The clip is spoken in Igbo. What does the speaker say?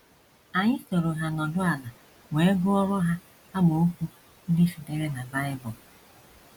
Anyị sooro ha nọdụ ala wee gụọrọ ha amaokwu ndị sitere na Bible.